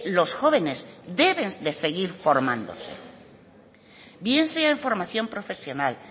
los jóvenes deben de seguir formándose bien sea en formación profesional